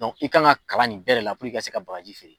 i kan ka kalan nin bɛɛ de la i ka se ka bakaji feere.